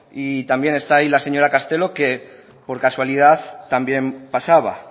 y también está ahí la señora castelo que por casualidad también pasaba